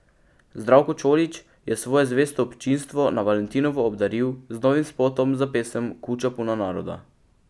Zdravko Čolić je svoje zvesto občinstvo na valentinovo obdaril z novim spotom za pesem Kuća puna naroda.